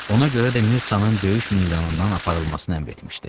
Ona görə də Mirçanın döyüş meydanından aparılmasını əmr etmişdi.